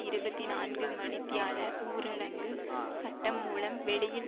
இருபத்தி நான்குமணித்தியால ஊரடங்கு சட்டம்மூலம் வெளியில்